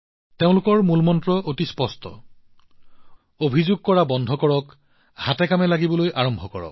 তেওঁলোকৰ মূলমন্ত্ৰ অতি স্পষ্ট অভিযোগ কৰা বন্ধ কৰক কাম কৰা আৰম্ভ কৰক